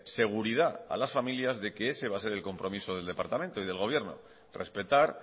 seguridad a las familias de que ese va a ser el compromiso del departamento y del gobierno respetar